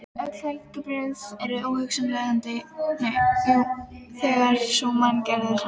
Öll bellibrögð eru óhugsandi þegar sú manngerð er annars vegar.